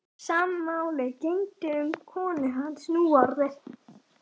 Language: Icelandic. Sama máli gegndi um konu hans núorðið.